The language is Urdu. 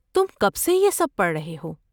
تم کب سے یہ سب پڑھ رہے ہو؟